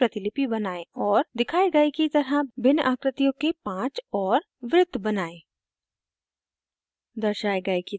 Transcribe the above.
वृत्त की प्रतिलिपि बनाएं और दिखाए गए की तरह भिन्न आकृतियों के 5 और वृत्त बनाएं